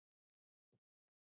Eftir það voru mótmæli algeng.